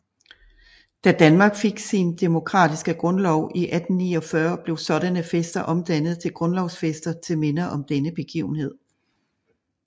Da Danmark fik sin demokratiske grundlov i 1849 blev sådanne fester omdannet til grundlovsfester til minde om denne begivenhed